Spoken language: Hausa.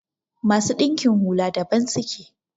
masu dinkin hula daban suke